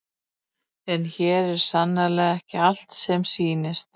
en hér er sannarlega ekki allt sem sýnist